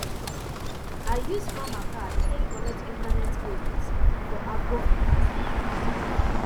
i use farmer card take collect internet credit for agrofinance app